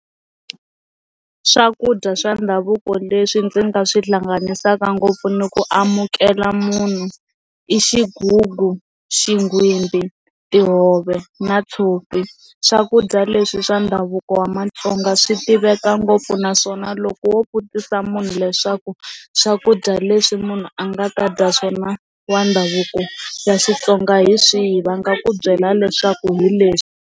Swakudya swa ndhavuko leswi ndzi nga swi hlanganisaka ngopfu ni ku amukela munhu i xigugu, xingwimbhi, tihove na tshopi, swakudya leswi swa ndhavuko wa Matsonga swi tiveka ngopfu naswona loko wo vutisa munhu leswaku swakudya leswi munhu a nga ta dya swona wa ndhavuko ya Xitsonga hi swihi va nga ku byela leswaku hi leswi.